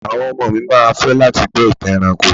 Àwọn ọmọ mi ma fẹ́ láti gbọ́ ìtàn ẹranko.